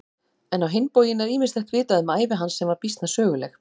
En á hinn bóginn er ýmislegt vitað um ævi hans sem var býsna söguleg.